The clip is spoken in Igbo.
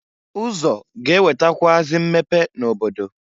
Ụzọ ga-ewetakwụazị mmepe n'obodo.